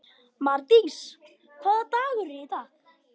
Mardís, hvaða dagur er í dag?